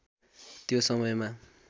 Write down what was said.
त्यो समयमा